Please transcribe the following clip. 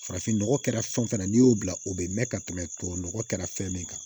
Farafin nɔgɔ kɛra fɛn o fɛn na n'i y'o bila o bɛ mɛn ka tɛmɛ tubabu nɔgɔ kɛra fɛn min kan